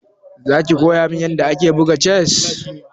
Za ki koya min yadda ake buga chess?